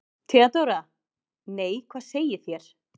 THEODÓRA: Nei, hvað segið þér?